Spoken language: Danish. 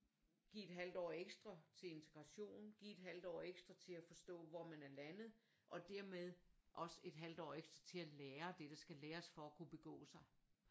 Give et halvt år ekstra til integration give et halvt år ekstra til og forstå hvor man er landet og dermed også et halvt år ekstra til at lære det det der skal læres for at kunne begå sig